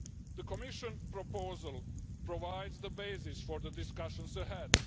The Commission proposal provides the basis for the discussions ahead.